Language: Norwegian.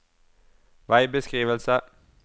veibeskrivelse